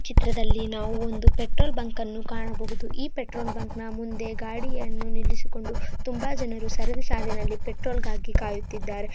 ಈ ಚಿತ್ರದಲ್ಲಿ ನಾವು ಒಂದು ಪೆಟ್ರೋಲ್ ಬಂಕ್ ಅನ್ನೂ ಕಾಣಬಹುದು. ಈ ಪೆಟ್ರೋಲ್ ಬಂಕ್ ಅನ್ನೂ ಮುಂದೆ ಗಾಡಿಯನ್ನು ನಿಲ್ಲಿಸಿಕೊಂಡು ತುಂಬಾ ಜನರು ಸಾರದಿ ಸಾಲಿನಲ್ಲಿ ಪೆಟ್ರೋಲ್ ಗಾಗಿ ಕಾಯುತ್ತಿದರೆ.